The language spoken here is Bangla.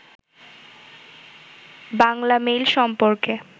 বাংলামেইল সম্পর্কে